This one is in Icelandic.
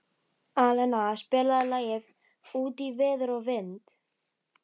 Alena, spilaðu lagið „Út í veður og vind“.